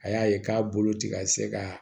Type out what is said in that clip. A y'a ye k'a bolo ti ka se ka